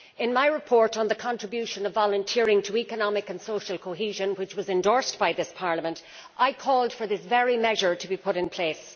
In my report on the contribution of volunteering to economic and social cohesion, which was endorsed by this Parliament, I called for this very measure to be put in place.